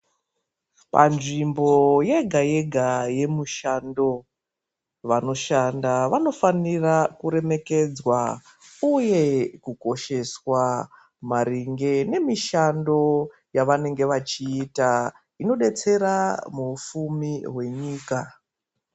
Panzvimbo yega-yega yemushando, vanoshanda vanofanira kuremekedzwa uye kukosheswa maringe nemishando yevanenge vachiita, inodetsera muupfumi hwenyika.